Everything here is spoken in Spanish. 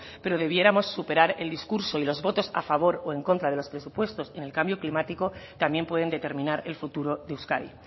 pero debiéramos superar el discurso y los votos a favor o en contra de los presupuestos en el cambio climático también pueden determinar el futuro de euskadi